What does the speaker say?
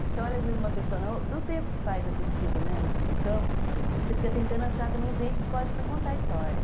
Você olha, às vezes, uma pessoa do tempo que faz a pesquisa, né, no campo, você fica tentando achar também gente que possa contar a história.